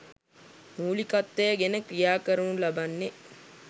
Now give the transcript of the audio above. මූලිකත්වය ගෙන ක්‍රියා කරනු ලබන්නේ